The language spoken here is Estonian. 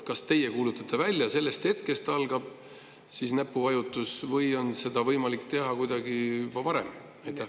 Kas teie kuulutate selle välja ja sellest hetkest saab nuppu vajutada või on seda võimalik teha juba varem?